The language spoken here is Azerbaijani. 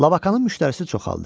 Labakanın müştərisi çoxaldı.